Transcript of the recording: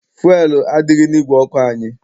Fuelu adịghị n'ìgwè ọkụ anyị.